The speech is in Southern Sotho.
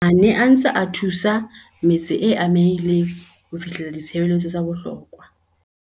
a ne a ntse a thusa metse e amehileng ho fihlella ditshebeletso tsa bohlokwa.